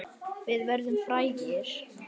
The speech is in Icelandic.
Við verðum frægir.